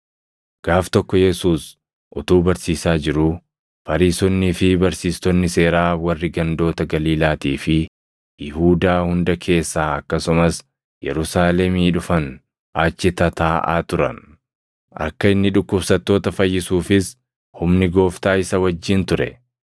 Gaaf tokko Yesuus utuu barsiisaa jiruu, Fariisonnii fi barsiistonni seeraa warri gandoota Galiilaatii fi Yihuudaa hunda keessaa akkasumas Yerusaalemii dhufan achi tataaʼaa turan. Akka inni dhukkubsattoota fayyisuufis humni Gooftaa isa wajjin ture.